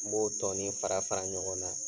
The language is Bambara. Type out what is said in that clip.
N b'o tɔɔni fara fara ɲɔgɔn na